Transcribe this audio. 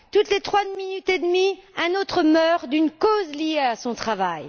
Toutes les trois minutes et demie, un autre meurt d'une cause liée à son travail.